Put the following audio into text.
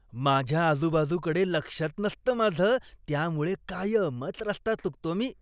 माझ्या आजुबाजूकडे लक्षच नसतं माझं त्यामुळे कायमच रस्ता चुकतो मी.